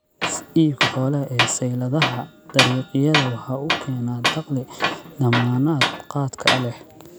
Iibka xoolaha ee sayladaha dariiqyada waxa uu keenaa dakhli dammaanad qaadka leh.